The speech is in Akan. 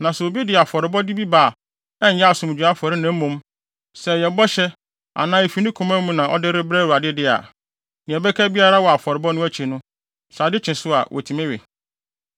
“ ‘Na sɛ obi de afɔrebɔde bi ba a ɛnyɛ asomdwoe afɔre na mmom, sɛ ɛyɛ bɔhyɛ anaa efi ne koma mu na ɔde rebrɛ Awurade de a, nea ɛbɛka biara wɔ afɔrebɔ no akyi no, sɛ ade kye so a, wotumi we.